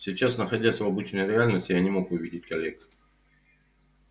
сейчас находясь в обычной реальности я не мог увидеть коллег